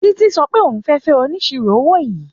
Títí sọ pé òun fẹ́ fẹ́ oníṣirò owó yìí.